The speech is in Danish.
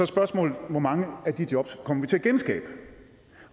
spørgsmålet hvor mange af de jobs vi kommer til at genskabe